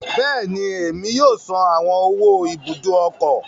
Bẹẹni, Emi yoo san awọn owó Ibùdó ọkọ̀